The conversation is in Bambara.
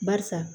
Barisa